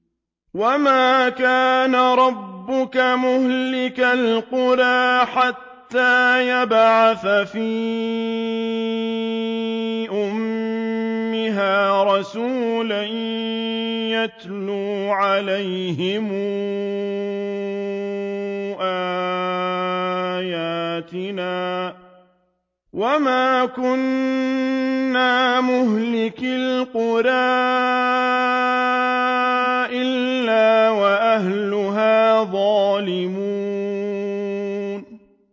وَمَا كَانَ رَبُّكَ مُهْلِكَ الْقُرَىٰ حَتَّىٰ يَبْعَثَ فِي أُمِّهَا رَسُولًا يَتْلُو عَلَيْهِمْ آيَاتِنَا ۚ وَمَا كُنَّا مُهْلِكِي الْقُرَىٰ إِلَّا وَأَهْلُهَا ظَالِمُونَ